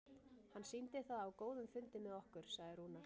Hann sýndi það á góðum fundi með okkur, sagði Rúnar.